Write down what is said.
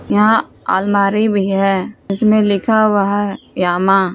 यहां अलमारी भी हैं जिसमें लिखा हुआ है यामा।